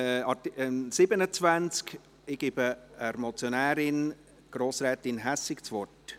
Ich gebe der Motionärin, Grossrätin Hässig, das Wort.